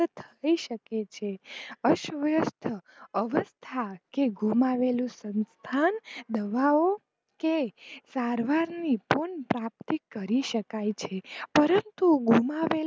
થઈ શકે છે અસ્થવ્યસ્થ અવસ્થા કે ગુમાવેલું સંથાન, દવાઓ કે સારવારની પણ પ્રાપ્તિ કરી શકાય છે પરંતુ ગુમાવેલ